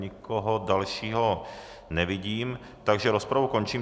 Nikoho dalšího nevidím, takže rozpravu končím.